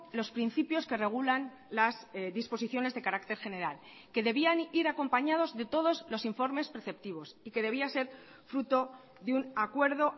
los principios que regulan las disposiciones de carácter general que debían ir acompañados de todos los informes preceptivos y que debía ser fruto de un acuerdo